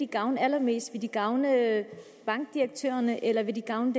gavne allermest vil de gavne bankdirektørerne eller vil de gavne